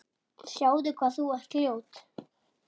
Sjáðu hvað þú ert ljót.